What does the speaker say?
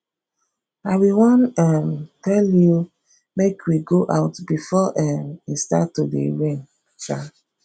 i be wan um tell you make we go out before um e start to dey rain um